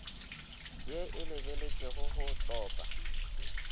ye e lebeletpego go tlopa